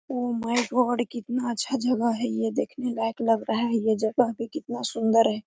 Oh my god कितना अच्छा जगह है ये देखने लायक लग रहा है ये जगह भी कितना सुंदर है।